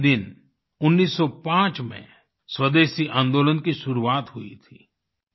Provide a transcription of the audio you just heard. इसी दिन 1905 में स्वदेशी आंदोलन की शुरुआत हुई थी